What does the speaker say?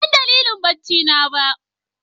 Ban san dalilin bacci na ba ooo.